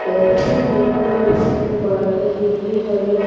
जैसा की मै देख पा रही हु ये एक पार्क है जो कि हरे--